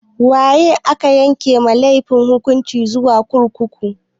Waye ake yanke wa mai laifi hukunci zuwa kurkuku?